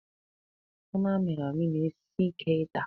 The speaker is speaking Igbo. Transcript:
Anụ amịrị amị na-esi Ike ịta.